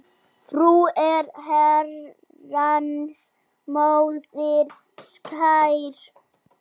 Frú er Herrans móðir skær.